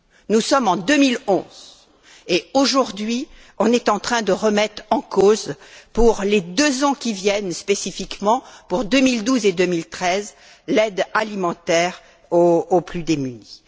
Nous sommes en 2011 et, aujourd'hui, nous sommes en train de remettre en cause, pour les deux ans qui viennent, et spécifiquement pour 2012 et 2013, l'aide alimentaire aux plus démunis.